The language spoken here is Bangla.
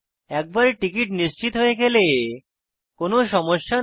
একবার টিকিট নিশ্চিত হয়ে গেলে কোনো সমস্যা নেই